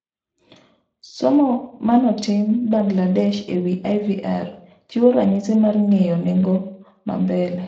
Somo manotim Bangladesh e wi IVR chiwo ranyisi mar ng'iyo nengo ma mbele